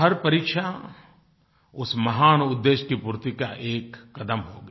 हर परीक्षा उस महान उद्देश्य की पूर्ति का एक कदम होगी